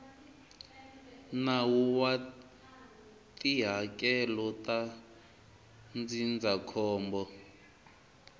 nawu wa tihakelo ta ndzindzakhombo